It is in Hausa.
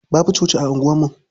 Babu coci a unguwarmu.